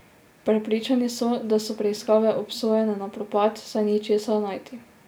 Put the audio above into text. Prepričani so, da so preiskave obsojene na propad, saj ni česa najti.